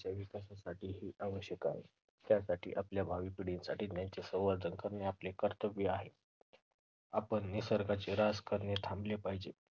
विकासासाठी हे आवश्यक आहे त्यामुळे आपल्या भावी पिढ्यांसाठी त्याचे संवर्धन करणे आपले कर्तव्य आहे. आपण निसर्गाचा -हास करणे थांबवले पाहिजे.